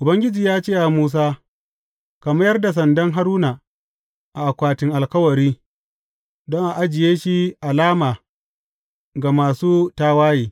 Ubangiji ya ce wa Musa, Ka mayar da sandan Haruna a akwatin Alkawari, don a ajiye shi alama ga masu tawaye.